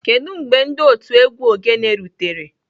Kedu mgbe otu egwu ogene rutere?